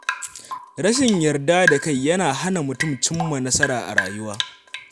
Rashin yarda da kai yana hana mutum cimma nasara a rayuwa.